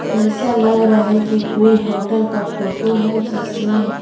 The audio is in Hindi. ऐसा लग रहा है कि कोई होटल का फोटो है जिसमें--